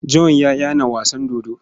John ya yana wasan dodo.